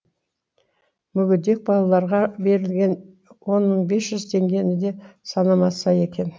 мүгедек балаларға берілетін он мың бес жүз теңгені де санамаса екен